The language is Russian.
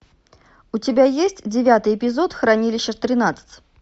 у тебя есть девятый эпизод хранилище тринадцать